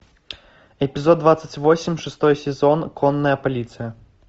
эпизод двадцать восемь шестой сезон конная полиция